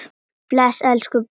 Bless elsku pabbi.